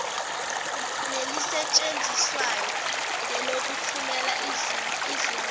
nelisetshenziswayo ngelokuthumela izinwadi